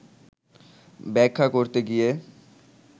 ব্যাখ্যা করতে গিয়ে